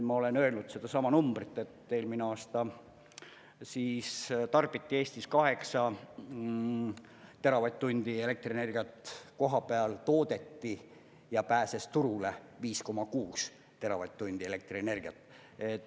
Ma olen öelnud sedasama numbrit, et eelmine aasta tarbiti Eestis 8 teravatt-tundi elektrienergiat, kohapeal toodeti ja pääses turule 5,6 teravatt-tundi elektrienergiat.